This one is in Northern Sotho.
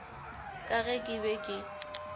ka ge ke be ke